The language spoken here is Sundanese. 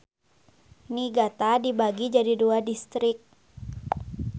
Niigata dibagi jadi dua distrik.